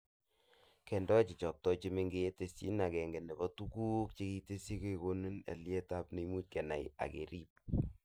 Kendoee cheikotoi chemengech, tesyinet agenge nebo tuguk chekitesyi kokonori aliet nemuch kenai ak kerib